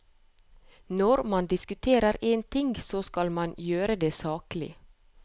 Når man diskuterer en ting, så skal man gjøre det saklig.